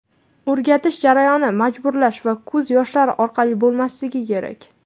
O‘rgatish jarayoni majburlash va ko‘z yoshlari orqali bo‘lmasligi kerak.